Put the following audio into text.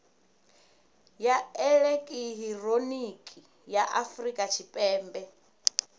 ya elekihironiki ya afurika tshipembe